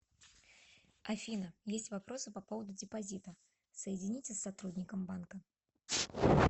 афина есть вопросы по поводу депозита соедините с сотрудником банка